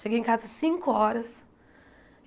Cheguei em casa cinco horas.